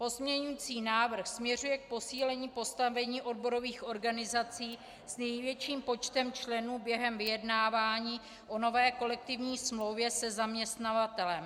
Pozměňující návrh směřuje k posílení postavení odborových organizací s největším počtem členů během vyjednávání o nové kolektivní smlouvě se zaměstnavatelem.